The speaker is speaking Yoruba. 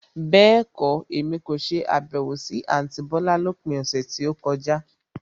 Bẹ́ẹ̀kọ́, Èmi kò ṣe Àbẹ̀wò sí àntí bọ́lá lópin ọ̀sẹ̀ tí ó kọjá.